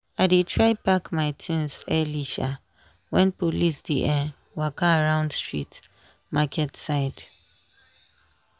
i dey try pack my things early um when police dey um waka around street market side.